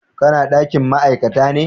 Ka na dakin ma'aikata ne?